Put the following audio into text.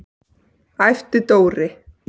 æpti Dóri.